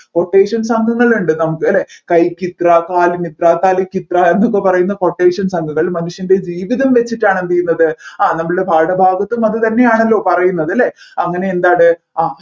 അ quotation സംഘങ്ങൾ ഉണ്ട് നമ്മുക്ക് അല്ലെ കൈക്ക് ഇത്ര കാലിന് ഇത്ര തലക്ക് ഇത്ര എന്നൊക്കെ പറയുന്ന quotation സംഘങ്ങൾ മനുഷ്യൻെറ ജീവിതം വെച്ചിട്ടാണ് എന്ത് ചെയ്യുന്നത് ആ നമ്മൾടെ പാഠഭാഗത്തും അത് തന്നെയാണല്ലോ പറയുന്നത് ല്ലെ അങ്ങനെ എന്താത് ആ